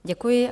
Děkuji.